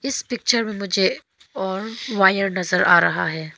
इस पिक्चर में मुझे और वायर नजर आ रहा है।